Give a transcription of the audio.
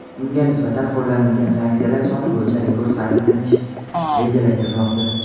unga nisbatan qo‘llanilgan sanksiyalar soni bo‘yicha rekord qayd etishni rejalashtirmoqda.